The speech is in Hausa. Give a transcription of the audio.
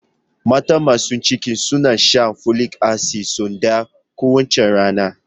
Mata masu ciki suna shan folic acid sau ɗaya kowace rana